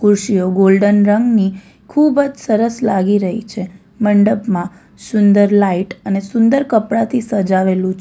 ખુરશીઓ ગોલ્ડન રંગની ખુબ જ સરસ લાગી રહી છે મંડપમાં સુંદર લાઈટ અને સુંદર કપડાથી સજાવેલું છે.